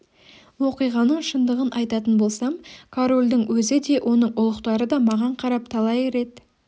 оқиғаның шындығын айтатын болсам корольдің өзі де оның ұлықтары да маған қарап талай рет